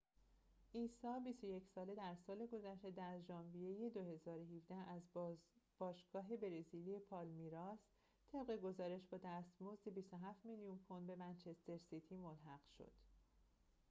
عیسی ۲۱ ساله در سال گذشته در ژانویه ۲۰۱۷ از باشگاه برزیلی پالمیراس طبق گزارش با دستمزد ۲۷ میلیون پوند به منچستر سیتی ملحق شد